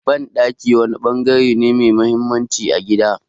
Banɗaki wani bangare ne mai mahimmanci a gida.